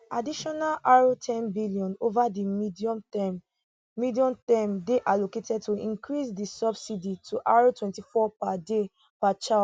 additional r ten billion ova di medium term medium term dey allocated to increase di subsidy to r twenty four per day per child